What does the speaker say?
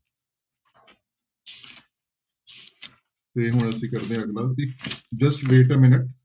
ਤੇ ਹੁਣ ਅਸੀਂ ਕਰਦੇ ਹਾਂ ਅਗਲਾ ਤੇ just wait a minute